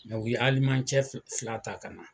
u ye cɛ fila fila ta ka na